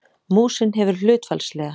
Músin hefur hlutfallslega